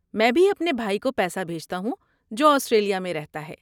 میں بھی اپنے بھائی کو پیسہ بھیجتا ہوں جو آسٹریلیا میں رہتا ہے۔